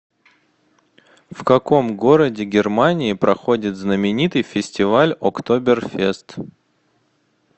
в каком городе германии проходит знаменитый фестиваль октоберфест